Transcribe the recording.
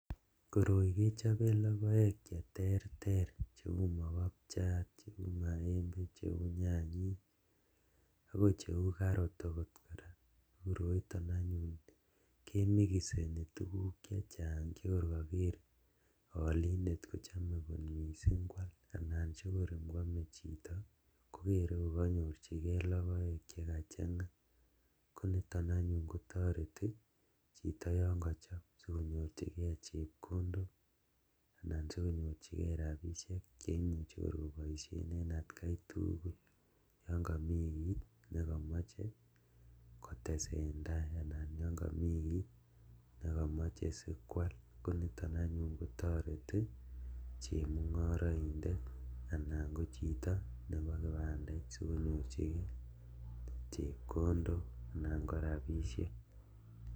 Koroi kechoben lokoek cheterter cheuu mokopchat, cheuu maembe, cheuu nyanyik akoi cheuu karot okot kora, koroiton anyun kemikiseni tukuk chechang chekor koker olindet kochome kot mising kwaal anan chekor kwomee chito kokeree kokonyorchikee lokoek chekachang'a, koniton anyun kotoreti chito yoon kochop sikonyorchikee chepkondok nan sikonyorchikee rabishek cheimuche kor koboishen en atkai tukul yon komii kiit nekomoche kotesen taai anan yoon komii kiit nekomoche sikwaal koniton anyun kotoreti chemung'oroidet anan kochito neboo kipandait sikonyorchikee chepkondok anan ko rabishek.